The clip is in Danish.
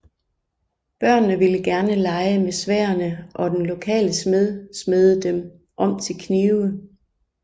Børnene ville gerne lege med sværdene og den lokale smed smedede dem om til knive